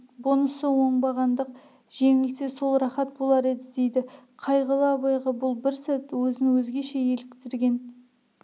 бұнысы оңбағандық жеңілсе сол рахат болар еді дейді қайғылы абайға бұл бір сәт өзін өзгеше еліктірген